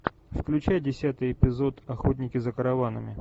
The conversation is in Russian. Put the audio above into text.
включай десятый эпизод охотники за караванами